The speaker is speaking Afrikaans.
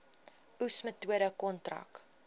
oes metode kontrak